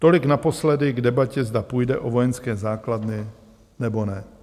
Tolik naposledy k debatě, zda půjde o vojenské základny, nebo ne.